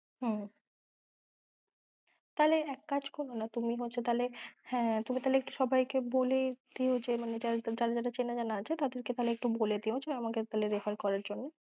হম তাহলে এক কাজ করোনা তুমি, তাহলে হ্যাঁ তুমি তাহলে সবাইকে বলে দিও যারা চেনা জানা আছে, তাদের তাহলে বলে দিও যে আমায় refer করার জন্য